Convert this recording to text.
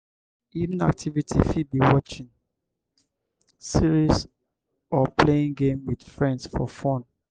my evening activity fit be watching series or playing game with friends for fun.